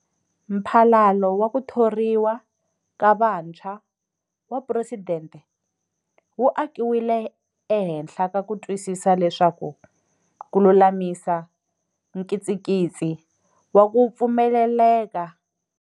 Mphalalo wa ku Thoriwa ka Vantshwa wa Phuresidente wu akiwile ehenhla ka ku twisisa leswaku ku lulamisa nkitsikitsi wa ku pfumeleleka.